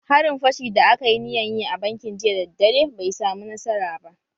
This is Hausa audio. Harin fashi da aka yi niyan yi a bankin jiya daddare bai samu nasara ba.